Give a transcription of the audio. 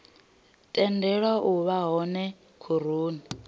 tendelwa u vha hone khoroni